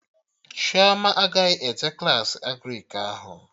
Chioma agaghị eje Klassị Agrịk ahụ